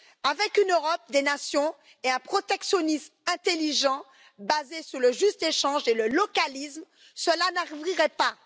Avec une Europe des nations et un protectionnisme intelligent basé sur le juste échange et le localisme, cela n'arriverait pas.